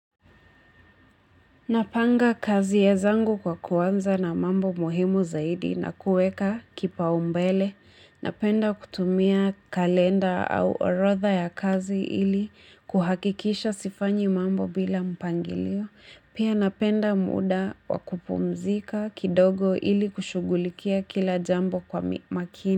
Napanga kazi zangu kwa kuanza na mambo muhimu zaidi na kuweka kipaumbele, napenda kutumia kalenda au orodha ya kazi ili kuhakikisha sifanyi mambo bila mpangilio, pia napenda muda wa kupumzika kidogo ili kushughulikia kila jambo kwa makini.